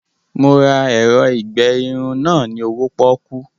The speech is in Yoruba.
Mo ra ẹ̀rọ ìgbe irun náà ni owó pọ́kú